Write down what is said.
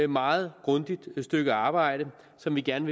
meget grundigt stykke arbejde som vi gerne